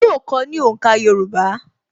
Yóò kọ́ ọ ní òǹkà Yorùbá